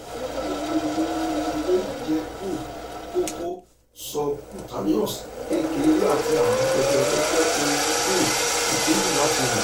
ni gbogbo ipo eleyi je um koko subcutaneous kekere ati arun jejere je ohun um ikeyi lati ro